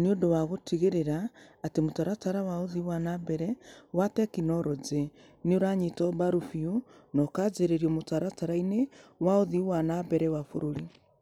nĩ ũndũ wa gũtigĩrĩra atĩ mũtaratara wa ũthii wa na mbere wa tekinolonjĩ nĩ ũranyitwo mbaru biũ na ũkanjĩkĩrĩrio mũtaratara-inĩ wa ũthii wa na mbere wa bũrũri.